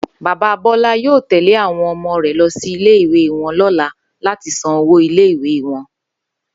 Bàbá Bó̩lá yóò tè̩lé àwo̩n o̩mo̩ rè̩ lo̩ sí ilé-ìwé wo̩n ló̩la láti san owó ilé wo̩n